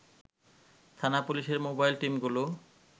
থানা পুলিশের মোবাইল টিমগুলো